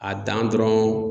A dan dɔrɔn.